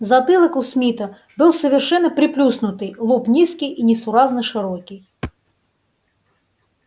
затылок у смита был совершенно приплюснутый лоб низкий и несуразно широкий